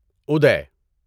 ادے